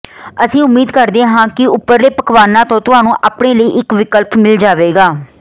ਅਸੀਂ ਉਮੀਦ ਕਰਦੇ ਹਾਂ ਕਿ ਉਪਰਲੇ ਪਕਵਾਨਾਂ ਤੋਂ ਤੁਹਾਨੂੰ ਆਪਣੇ ਲਈ ਇੱਕ ਵਿਕਲਪ ਮਿਲ ਜਾਵੇਗਾ